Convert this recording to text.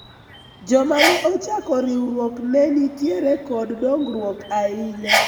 joma ne ochako riwruok ne nitiere kod dongruok ahinya